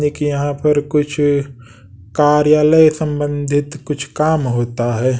देखिए यहां पर कुछ कार्यालय संबंधित कुछ काम होता है।